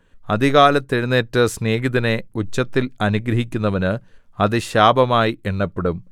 അതികാലത്ത് എഴുന്നേറ്റ് സ്നേഹിതനെ ഉച്ചത്തിൽ അനുഗ്രഹിക്കുന്നവന് അത് ശാപമായി എണ്ണപ്പെടും